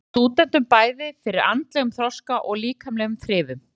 Það stendur stúdentunum bæði fyrir andlegum þroska og líkamlegum þrifum.